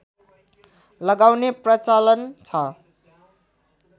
लगाउने प्रचलन छ